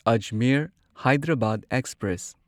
Ajmer Hyderabad express